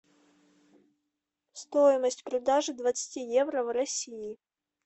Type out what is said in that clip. стоимость продажи двадцати евро в россии